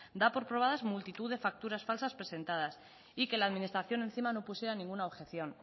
da por probadas multitud de facturas falsas presentadas y que la administración encima no pusiera ninguna objeción